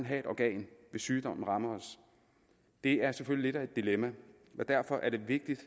have et organ hvis sygdommen rammer os det er selvfølgelig lidt af et dilemma og derfor er det vigtigt